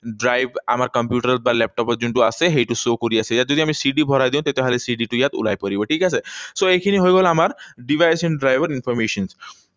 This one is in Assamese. Drive আমাৰ কম্পিউটাৰত বা লেপটপত যোনটো আছে, সেইটো show কৰি আছে। ইয়াত যদি আমি CD ভৰাই দিও, তেতিয়াহলে CD টো ইয়াত ওলাই পৰিব, ঠিক আছে? So, এইখিনি হৈ গল আমাৰ device and drive ৰ information